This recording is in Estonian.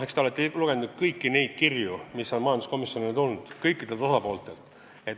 Eks te olete lugenud kõiki neid kirju, mis osapooled majanduskomisjonile on saatnud.